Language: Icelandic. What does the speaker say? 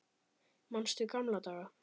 Manstu gamla daga?